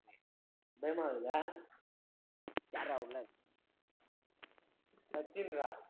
பயமாருக்குதா யாருடா உள்ள சச்சின் ரா.